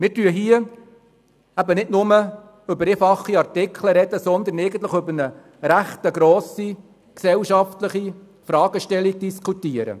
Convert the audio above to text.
Wir sprechen hier eben nicht nur über einfache Artikel, sondern über eine recht grosse gesellschaftliche Fragestellung.